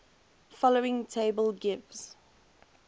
following table gives